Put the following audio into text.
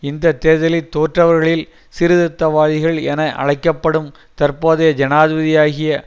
இந்த தேர்தலில் தோற்றவர்களில் சீர்திருத்தவாதிகள் என அழைக்க படும் தற்போதைய ஜனாதிபதியாகிய